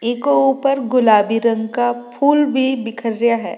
इके ऊपर गुलाबी रंग का फूल भी बिखरिया है।